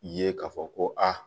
Ye k'a fɔ ko aa